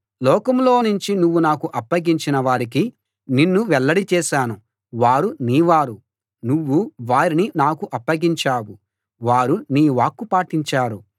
లోకంలోనుంచి నువ్వు నాకు అప్పగించిన వారికి నిన్ను వెల్లడి చేశాను వారు నీ వారు నువ్వు వారిని నాకు అప్పగించావు వారు నీ వాక్కు పాటించారు